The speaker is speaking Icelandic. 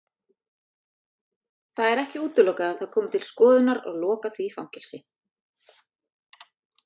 Þorbjörn Þórðarson: Það er ekki útilokað að það komi til skoðunar að loka því fangelsi?